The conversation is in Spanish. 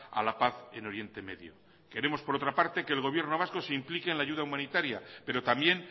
a la paz en oriente medio queremos por otra que el gobierno vasco se implique en la ayuda humanitaria pero también